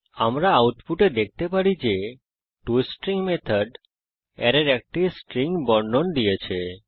আমরা আউটপুটে দেখতে পারি যে টস্ট্রিং মেথড অ্যারের একটি স্ট্রিং বর্ণন দিয়েছে